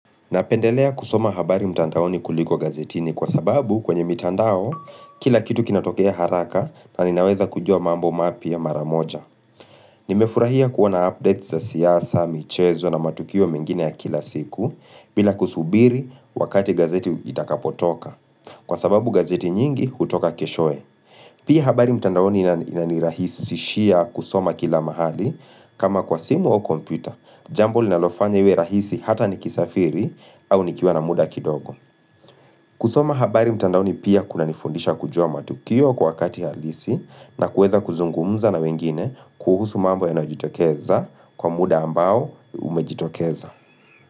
Napendelea kusoma habari mtandaoni kuliko gazetini kwa sababu kwenye mitandao kila kitu kinatokea haraka na ninaweza kujua mambo mapya mara moja. Nimefurahia kuona updates za siasa, michezo na matukio mengine ya kila siku bila kusubiri wakati gazeti itakapotoka kwa sababu gazeti nyingi hutoka keshoye. Pia habari mtandaoni inani inanirahisi sishia kusoma kila mahali kama kwa simu au komputa, jambo linalofanya iwe rahisi hata ni kisafiri au nikiwa na muda kidogo. Kusoma habari mtandaoni pia kuna nifundisha kujua matukio kwa wakati halisi na kueza kuzungumuza na wengine kuhusu mambo ya najitokeza kwa muda ambao umejitokeza.